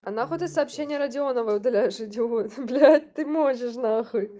а на хуй ты сообщение родионовой удаляешь идиот блять ты можешь нахуй